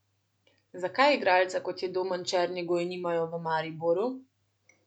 Zakaj igralca, kot je Domen Črnigoj, nimajo v Mariboru?